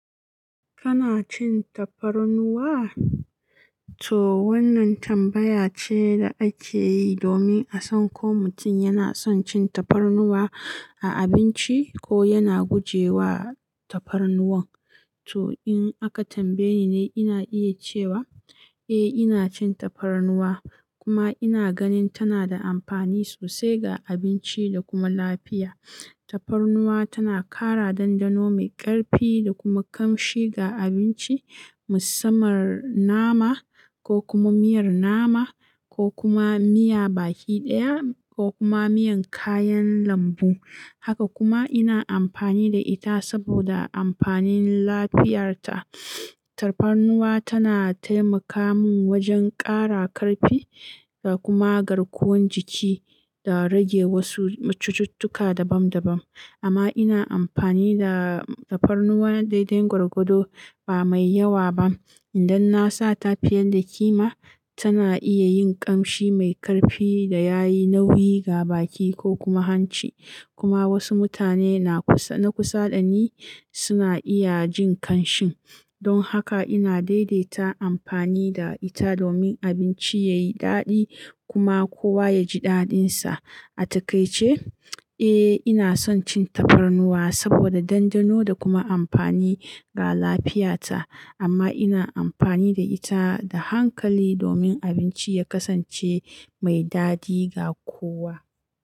Kana cin tafarnuwa? To wannan tambaya ce da ake yi domin a san ko mutum yana son cin tafarnuwa a abinci ko yana guje wa tafarnuwan. To in aka tambaye ni, ina iya cewa eh, ina cin tafarnuwa kuma ina ganin tana da amfani sosai ga abinci da kuma lafiya. Tafarnuwa tana ƙara dandano mai ƙarfi da kuma ƙamshi ga abinci, musamman nama ko kuma miyar nama, ko kuma miya baki ɗaya ko kuma miyan kayan lambu. Haka kuma ina amfani da ita saboda amfanin lafiyarta. Tafarnuwa tana taimaka mun wajen ƙara ƙarfi da kuma garkuwan jiki da rage wasu cututtuka dabam dabam. Amma ina amfani da tafarnuwa daidai gwargwado ba mai yawa ba. Idan na sa tafi yanda kima, tana iya yin ƙamshi mai ƙarfi da yayi nauyi ga baki ko kuma hanci. Kuma wasu mutane na kusa, na kusa dani suna iya jin kanshin. Don haka ina daidaita amfani da ita domin abinci yayi daɗi kuma kowa ya ji daɗinsa. A takaice, eh ina son cin tafarnuwa saboda dandano da kuma amfani ga lafiyata. Amma ina amfani da ita da hankali domin abinci ya kasance mai daɗi ga kowa.